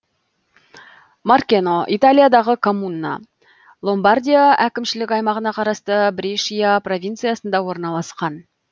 маркено италиядағы коммуна ломбардия әкімшілік аймағына қарасты брешия провинциясында орналасқан